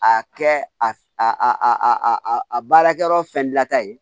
A kɛ a a a baarakɛyɔrɔ fɛn la ta ye